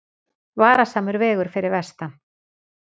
Varasamur vegur fyrir vestan